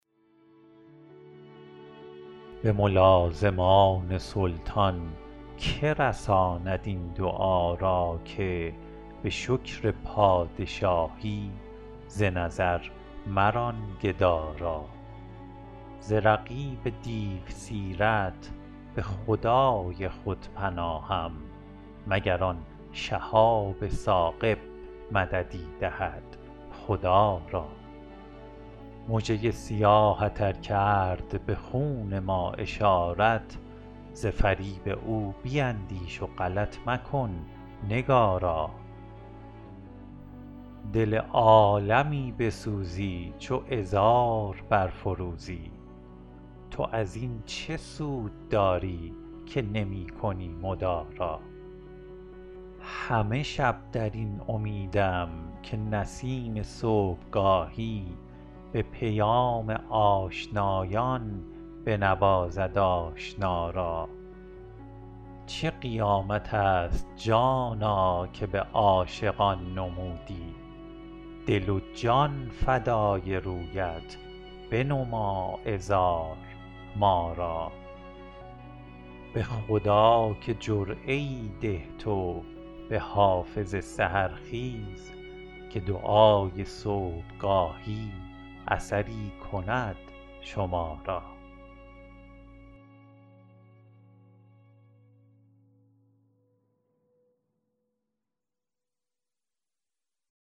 به ملازمان سلطان که رساند این دعا را که به شکر پادشاهی ز نظر مران گدا را ز رقیب دیوسیرت به خدای خود پناهم مگر آن شهاب ثاقب مددی دهد خدا را مژه ی سیاهت ار کرد به خون ما اشارت ز فریب او بیندیش و غلط مکن نگارا دل عالمی بسوزی چو عذار برفروزی تو از این چه سود داری که نمی کنی مدارا همه شب در این امیدم که نسیم صبحگاهی به پیام آشنایان بنوازد آشنا را چه قیامت است جانا که به عاشقان نمودی دل و جان فدای رویت بنما عذار ما را به خدا که جرعه ای ده تو به حافظ سحرخیز که دعای صبحگاهی اثری کند شما را